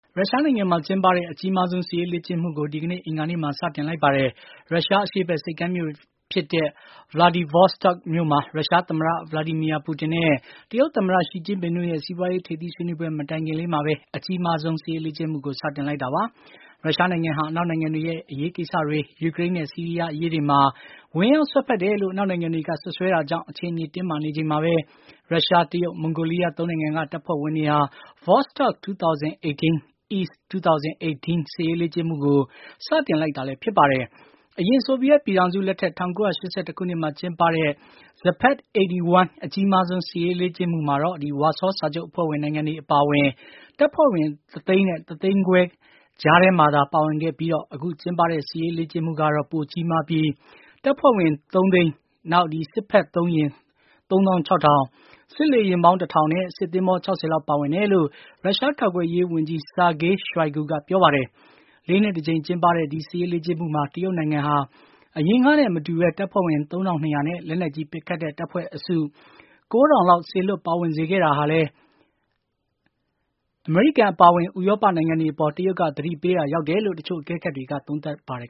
ရုရှားနိုင်ငံမှာ ကျင်းပတဲ့ အကြီးမှားဆုံး စစ်ရေးလေ့ကျင့်မှုကို ဒီကနေ့ အင်္ဂါနေ့မှာ စတင်လိုက်ပါတယ်။ ရုရှားအရှေ့ဘက် ဆိပ်ကမ်းမြို့ဖြစ်တဲ့ Vladivostok မြို့မှာ ရုရှားသမ္မတ Vladimir Putin နဲ့ တရုတ်သမ္မတ Xi Jinping တို့ရဲ့ စီးပွါးရေးထိပ်သီးဆွေးနွေးပွဲမတိုင်ခင်လေးမှာပဲ အကြီးမားဆုံး စစ်ရေးလေ့ကျင့်မှုကို စတင်လိုက်တာပါ။ ရုရှားနိုင်ငံဟာ အနောက်နိုင်ငံတွေရဲ့ အရေးကိစ္စတွေ၊ ယူကရိန်းနဲ့ ဆီးရီးယားအရေးတွေမှာ ဝင်ရောက်စွက်ဖက်တယ်လို့ အနောက်နိုင်ငံတွေက စွပ်စွဲတာကြောင့် အခြေအနေ တင်းမာနေချိန်မှာပဲ ရုရှား၊ တရုတ်၊ မွန်ဂိုလီးယား ၃ နိုင်ငံက တပ်ဖွဲ့ဝင်တွေဟာ Vostok-2018 (EAST-2018) စစ်ရေးလေ့ကျင့်မှုကို စတင်လိုက်တာလည်း ဖြစ်ပါတယ်။ အရင် ဆိုဗီယက်ပြည်ထောင်စု လက်ထက် ၁၉၈၁ ခုနှစ်မှာကျင်းပတဲ့ Zapad-81 (WEST-81) အကြီးမားဆုံး စစ်ရေးလေ့ကျင့်မှုမှာတော့ ဝါဆောစာချုပ်အဖွဲ့ဝင်နိုင်ငံတွေအပါအဝင် တပ်ဖွဲ့ဝင် ၁ သိန်းနဲ့ ၁ သိန်းခွဲ ခန့်ပါဝင်ခဲ့ပြီး အခုကျင်းပတဲ့ စစ်ရေးလေ့ကျင့်မှုကတော့ ပိုကြိးမားပြီး တပ်ဖွဲ့ဝင် ၃ သိန်းနဲ့ စစ်ဖက်သုံး ယာဉ် ၃၆၀၀၀၊ စစ်လေယာဉ်ပေါင်း ၁ ထောင်နဲ့ စစ်သင်္ဘော ၆၀ လောက် ပါဝင်တယ်လို့ ရုရှား ကာကွယ်ရေးဝန်ကြီး Sergey shoigu က ပြောပါတယ်။ ၄ နှစ်တကြိမ်ကျင်းပတဲ့ ဒီစစ်ရေးလေ့ကျင့်မှုမှာ တရုတ်နိုင်ငံက အရင်ကနဲ့ မတူဘဲ တပ်ဖွဲ့ဝင် ၃၂၀၀ နဲ့ လက်နက်ကြီး ပစ်ခတ်တဲ့ တပ်ဖွဲ့အစု ၉၀၀ လောက် စေလွှတ်ပါဝင်စေခဲ့တာဟာလည်း အမေရိကန်အပါအဝင် ဥရောပနိုင်ငံတွေအပေါ် တရုတ်က သတိပေးရာ ရောက်တယ်လို့ တချို့အကဲခတ်တွေက သုံးသပ်ပါတယ်